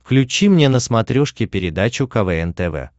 включи мне на смотрешке передачу квн тв